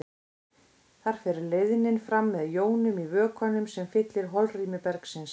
Þar fer leiðnin fram með jónum í vökvanum sem fyllir holrými bergsins.